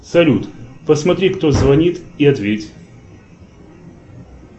салют посмотри кто звонит и ответь